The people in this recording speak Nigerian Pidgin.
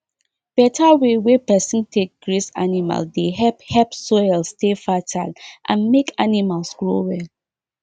better way wey person take graze animal dey help help soil stay fertile and make animals grow well